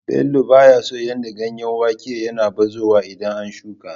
Bello ba ya son yadda ganyen wake yake bazuwa idan an shuƙa.